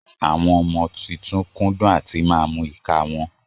Àwọn ọmọ titun kúndún àtímà mú ìka wọn